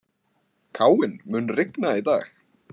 Káinn, mun rigna í dag?